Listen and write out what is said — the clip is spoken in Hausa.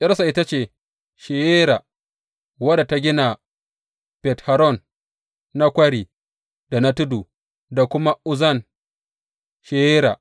’Yarsa ita ce Sheyera, wadda ta gina Bet Horon na kwari da na tudu da kuma Uzzen Sheyera.